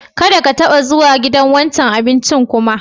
Kadda ka taba zuwa wancan gidan abincin kuma!